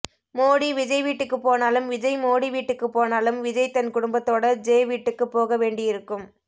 மோடி விஜய் வீட்டுக்குப்போனாலும் விஜய் மோடி வீட்டுக்குப்போனாலும் விஜய் தன் குடும்பத்தோட ஜெ வீட்டுக்குப்போக வேண்டி இருக்கும்